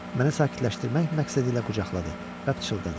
Mənə sakitləşdirmək məqsədilə qucaqladı və pıçıldadı.